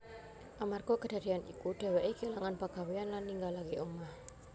Amarga kadadéyan iku dhèwèké kélangan pagawéyan lan ninggalaké omah